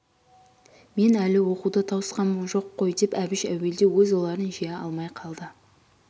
мен әлі оқуды тауысқам жоқ қой деп әбіш әуелде өз ойларын жия алмай қалды